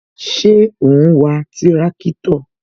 Ṣé o n wa tirakitọ?